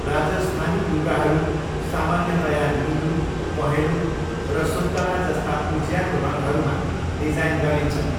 राजस्थानी लुगाहरू सामान्यतया निलो, पहेँलो र सुन्तला जस्ता उज्यालो रङहरूमा डिजाइन गरिन्छन्।